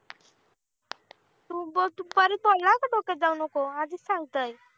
तू बघ दुपारी बोलला होता. डोक्यात जाऊ आधीच सांगतंय.